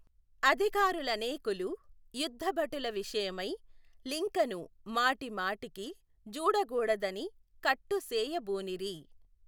అధికారులనేకులు యుద్ధభటుల విషయమై లింకను మాటిమాటికి జూడగూడదని కట్టు సేయ బూనిరి.